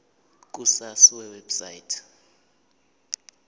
ku sars website